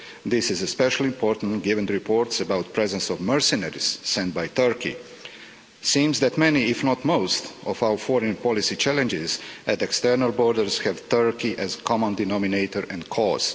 This is especially important given the reports about the presence of mercenaries sent by Turkey. It seems that many, if not most, of our foreign policy challenges at external borders have Turkey as the common denominator and cause.